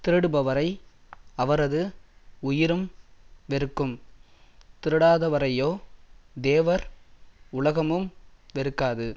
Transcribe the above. திருடுபவரை அவரது உயிரும் வெறுக்கும் திருடாதவரையோ தேவர் உலகமும் வெறுக்காது